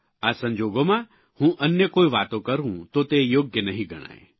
આ સંજોગોમાં હું અન્ય કોઇ વાતો કરૂં તો તે યોગ્ય નહિં ગણાય